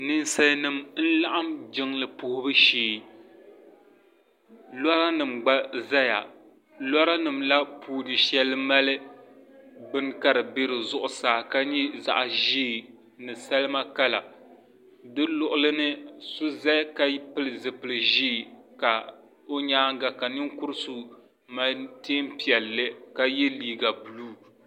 ninsalinima n-laɣim jiŋli puhibu shee lɔra nima gba zaya lɔra nima la puuni shɛli mali bini ka di be di zuɣusaa ka nyɛ zaɣ' ʒee ni salima kala di luɣili ni so zaya ka pili zipil' ʒee ka o nyaaga ka ninkur' so mali teen' piɛlli ka ye liiga buluu.